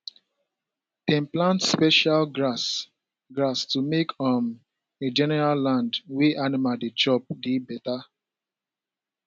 dem plant special grass grass to make um the general land wey animal dey chop dey better